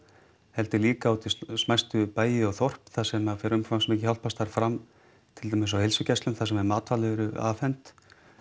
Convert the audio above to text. heldur líka út í smæstu bæi og þorp þar sem fer umfangsmikið hjálparstarf fram til dæmis á heilsugæslum þar sem matvæli eru afhent